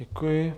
Děkuji.